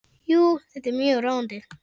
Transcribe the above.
Jú, þetta er mjög róandi.